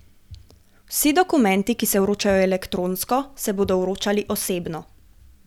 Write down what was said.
Vsi dokumenti, ki se vročajo elektronsko, se bodo vročali osebno.